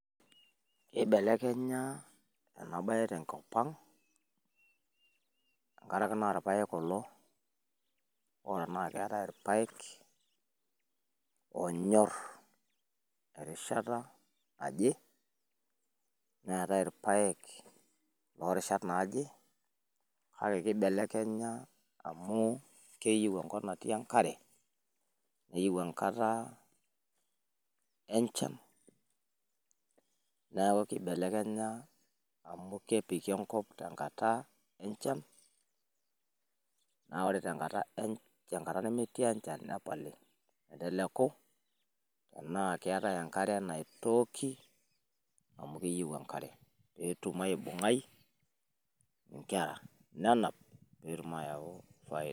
Eibelekenya enaa bae tenkop ang tenkaraki naa ilpaek kulo hoo netaii ilpaek onyorr erishata naaje netaii ilpaeek loorishat naaje, kake kibelekenya amu keyieuu enkop natii enkare neyieuu enkata enchan neaku kibelekenya amu kepiki enkop tenkata enchan, amu woore enkata nemetii enchan nepali petum aibungaii inkera nenap petumoki ayauu faida